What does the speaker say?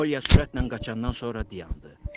Olya sürətlə qaçandan sonra dayandı.